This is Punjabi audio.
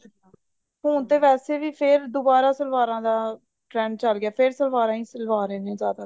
ਹੁਣ ਤੇ ਵੈਸੇ ਫ਼ੇਰ ਦੁਬਾਰਾ ਸਲਵਾਰਾਂ ਦਾ trend ਚੱਲ ਗਿਆ ਫ਼ੇਰ ਸਲਵਾਰਾਂ ਹੀ ਸਵਾ ਰਹੇ ਨੇ ਜਿਆਦਾ